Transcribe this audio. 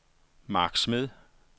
Mark Smed